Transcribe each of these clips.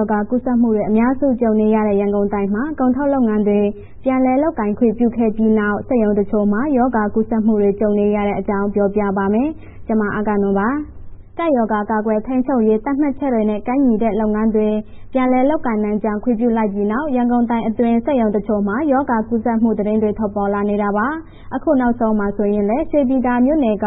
ောဂါ ကူးစက်မှုတွေ အများစုနဲ့ ကြုံနေရတဲ့ ရန်ကုန်တိုင်းမှာ ကုန်ထုတ်လုပ်ငန်းတွေ ပြန်လည်လုပ်ကိုင်ခွင့် ပြုခဲ့ပြီးနောက် စက်ရုံတချို့မှာ ရောဂါကူးစက်မှုတွေ ကြုံနေရတဲ့အကြောင်း ပြောပြပါမယ်။ ဗွီအိုအေမြန်မာပိုင်း သတင်းထောက် မအဂ္ဂနွန်က ပြောပြပါမယ်။ ကပ်ရောဂါ ကာကွယ်ထိန်းချုပ်ရေး သတ်မှတ်ချက်တွေနဲ့ ကိုက်ညီတဲ့ လုပ်ငန်းတွေ ပြန်လည်လုပ်ကိုင်နိုင်ကြောင်း ခွင့်ပြုလိုက်ပြီးနောက် ရန်ကုန်တိုင်းအတွင်း စက်ရုံတချို့မှာ ရောဂါကူးစက်မှု သတင်းတွေ ထွက်ပေါ်လာနေတာပါ။ အခုနောက်ဆုံးမှာ ဆိုရင်လည်း ရွှေပြည်သာမြို့နယ်က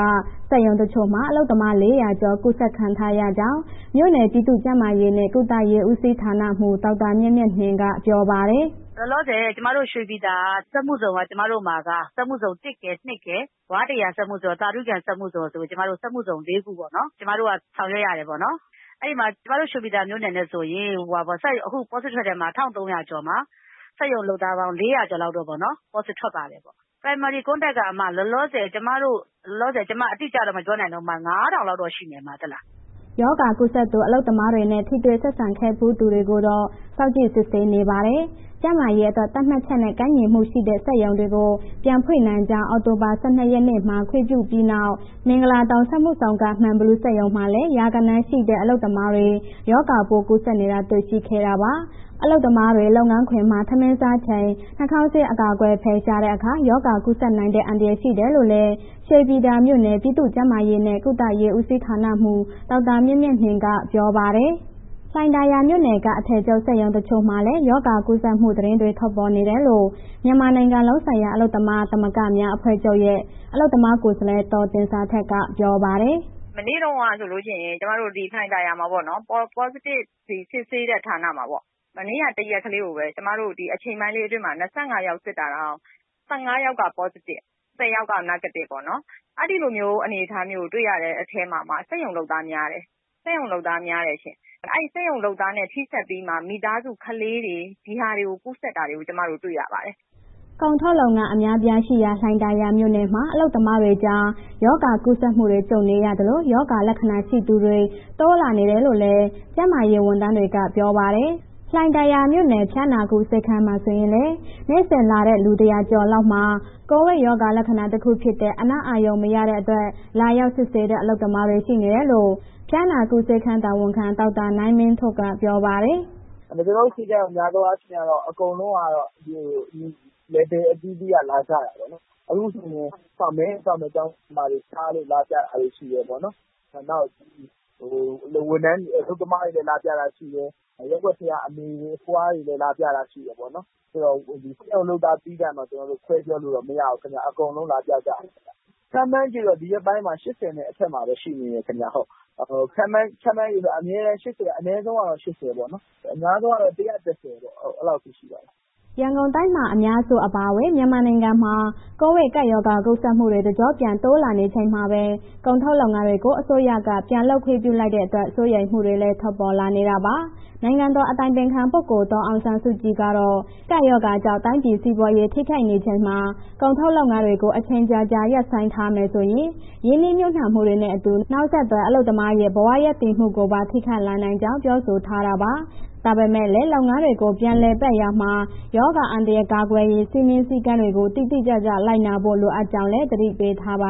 စက်ရုံတချို့မှာ အလုပ်သမား ၄၀၀ ကျော် ကူးစက်ခံထားရကြောင်း မြို့နယ် ပြည်သူ့ကျန်းမာရေးနဲ့ ကုသရေးဦးစီးဌာနမှူး ဒေါက်တာမြတ်မြတ်နှင်းက ပြောပါတယ်။ “လောလောဆယ် ကျမတို့ ရွှေပြည်သာစက်မှုဇုန်က ကျမတို့မှာက စက်မှုဇုန် ၁ ရယ်၊ ၂ ရယ်၊ ဝါးတစ်ရာစက်မှုဇုန်၊ သာဓုကန်စက်မှုဇုန်ဆိုပြီး ကျမတို့ စက်မှုဇုန် ၄ ခုပေါ့နော်... ကျမတို့က ဆောင်ရွက်ရတယ်ပေါ့နော်၊ အဲ့ဒီမှာ ကျမတို့ ရွှေပြည်သာမြို့နယ်နဲ့ဆိုရင် အခု positive ထွက်တယ်၊ ၁,၃၀၀ ကျော်မှာ စက်ရုံအလုပ်သားပေါင်း ၄၀၀ လောက်ပေါ့နော် positive ထွက်ပါတယ်။ primary contact က လောလောဆယ် ကျမ အတိအကျတော့ မပြောနိုင်တော့ ၅,၀၀၀ လောက်တော့ရှိမယ်။” ရောဂါကူးစက်သူ အလုပ်သမားတွေနဲ့ ထိတွေ့ဆက်ဆံခဲ့ဖူးသူတွေကိုတော့ စောင့်ကြည့်စစ်ဆေးနေပါတယ်။ ကျန်းမာရေးအတွက် သတ်မှတ်ချက်နဲ့ ကိုက်ညီမှုရှိတဲ့ စက်ရုံတွေကို ပြန်ဖွင့်နိုင်ကြောင်း အောက်တိုဘာ ၁၂ နေ့မှာ ခွင့်ပြုပြီးနောက် မင်္ဂလာဒုံစက်မှုဇုန်က မှန်ဘီလူးစက်ရုံမှာလည်း ရာဂဏန်းရှိတဲ့ အလုပ်သမားတွေ ရောဂါပိုးကူးစက်နေတာ တွေ့ရှိခဲ့တာပါ။ အလုပ်သမားတွေ လုပ်ငန်းခွင်မှာ ထမင်းစားချိန် နှာခေါင်းစည်း အကာအကွယ် ဖယ်ရှားတဲ့အခါ ရောဂါကူးစက်နိုင်တဲ့ အန္တရာယ် ရှိတယ်လို့လည်း ရွှေပြည်သာမြို့နယ် ပြည်သူ့ကျန်းမာရေးနဲ့ ကုသရေးဦးစီးဌာနမှူး ဒေါက်တာမြတ်မြတ်နှင်းက ပြောပါတယ်။ လှိုင်ယာသာမြို့နယ်က အထည်ချုပ်စက်ရုံတချို့မှာလည်း ရောဂါကူးစက်မှု သတင်းတွေ ထွက်ပေါ်နေတယ်လို့ မြန်မာနိုင်ငံလုံးဆိုင်ရာ အလုပ်သမားသမဂ္ဂများအဖွဲ့ချုပ်ရဲ့ အလုပ်သမားကိုယ်စားလှယ် ဒေါ်သင်ဇာထက်က ပြောပါတယ်။ “မနေ့တုန်းက ဆိုလို့ရှိရင် ကျမတို့ ဒီလှိုင်သာယာမှာပေါ့နော်၊ Positive စစ်ဆေးတဲ့ဌာနမှာပေ့ါ။ မနေ့က တစ်ရက်ကလေးကိုပဲ ကျမတို့ ဒီအချိန်ပိုင်းလေးအတွင်းမှာ ၂၅ ယောက်စစ်တာတောင် ၁၅ ယောက်က positive၊ ၁၀ ယောက်က Negative ပေါ့နော် အဲ့ဒီလိုမျိုး အနေအထားမျိုးတွေ့ရတဲ့အထဲမှာမှ စက်ရုံ အလုပ်သားများတယ်၊ စက်ရုံအလုပ်သားများတယ်ရှင့်။ အဲ့စက်ရုံအလုပ်သားနဲ့ ထိစပ်ပြီး မိသားစုကလေးတွေ ဒီဟာကို ကူးစက်တာကို ကျမတို့ တွေ့ရတယ်။” ကုန်ထုတ်လုပ်ငန်း အများအပြားရှိရာ လှိုင်သာယာမြို့နယ်မှာ အလုပ်သမားတွေကြား ရောဂါကူးစက်မှုတွေ ကြုံနေရသလို၊ ရောဂါလက္ခဏာ ရှိသူတွေ တိုးလာနေတယ်လို့လည်း ကျန်းမာရေးဝန်ထမ်းတွေက ပြောပါတယ်။ လှိုင်သာယာမြို့နယ် ဖျားနာကု ဆေးခန်းမှာဆိုရင်လည်း နေ့စဉ်လာတဲ့ လူ ၁၀၀ ကျော်လောက်မှာ ကိုဗစ်ရောဂါလက္ခဏာတခုဖြစ်တဲ့ အနံ့အာရုံမရတဲ့အတွက် လာရောက်စစ်ဆေးတဲ့ အလုပ်သမားတွေ ရှိနေတယ်လို့ ဖျားနာကုဆေးခန်း တာဝန်ခံ ဒေါက်တာနိုင်မင်းထွဋ်က ပြောပါတယ်။ “ကျနော်တို့ ဆေးခန်းက များသောအားဖြင့် အကုန်လုံးက နယ်ပယ်အသီးအသီး လာကြတယ်ပေါ့နော်၊ အခုဆိုရင် မဲရုံစောင့်မယ့် ကျောင်းဆရာမတွေ ဖျားလို့လာကြတာတွေရှိတယ်ပေါ့နော်၊ နောက် ဝန်ထမ်းတွေ အလုပ်သမားတွေ လာပြတာရှိတယ်၊ ရပ်ကွက်ထဲမှာ အမေတွေအဖွားတွေ လာပြတာတွေရှိတယ်ပေါ့နော်၊ စက်ရုံအလုပ်သမားသီးသန့်တော့ ကျနော်တို့ ခွဲပြောလို့မရဘူးခင်ဗျ၊ အကုန်လုံးလာပြကြတယ်ခင်ဗျာ။ ခန့်မှန်ခြေတော့ ဒီရက်ပိုင်းမှာ ၈၀ နဲ့အထက်မှာပဲ ရှိနေတယ်ခင်ဗျာ၊ ခန့်မှန်းခြေဆိုရင် အမြဲတမ်း ၈၀ က အနည်းဆုံးတော့ ၈၀ ပေါ့နော်၊ အများဆုံးကတော့ ၁၁၀ ပေါ့ အဲ့လောက်ထိရှိတယ်။” ရန်ကုန်တိုင်းမှာ အများစုအပါအဝင် မြန်မာနိုင်ငံမှာ ကိုဗစ်ကပ်ရောဂါ ကူးစက်မှုတွေ တကျော့ပြန် တိုးလာနေချိန်မှာပဲ ကုန်ထုတ်လုပ်ငန်းတွေကို အစိုးရက ပြန်လုပ်ခွင့်ပြုလိုက်တဲ့အတွက် စိုးရိမ်မှုတွေလည်း ထွက်ပေါ်နေတာပါ။ နိုင်ငံတော်အတိုင်ပင်ခံ ပုဂ္ဂိုလ် ဒေါ်အောင်ဆန်းစုကြည်ကတော့ ကပ်ရောဂါကြောင့် တိုင်းပြည်စီးပွားရေး ထိခိုက်နေချိန်မှာ ကုန်ထုတ်လုပ်ငန်းတွေကို အချိန်ကြာကြာ ရပ်ဆိုင်းထားမယ်ဆိုရင် ရင်းနှီးမြှုုပ်နှံမှုတွေနဲ့ အတူ နောက်ဆက်တွဲ အလုပ်သမားတွေရဲ့ ဘဝရပ်တည်မှုကိုပါ ထိခိုက်လာနိုင်ကြောင်း ပြောဆိုထားတာပါ။ ဒါပေမဲ့လည်းလုပ်ငန်းတွေကို ပြန်လည်ပတ်ရာမှာ ရောဂါအန္တရာယ် ကာကွယ်ရေး စည်းမျဉ်းစည်းကမ်းတွေကို တိတိကျကျ လိုက်နာဖို့ လိုအပ်ကြောင်းလည်း သတိပေးထားပါ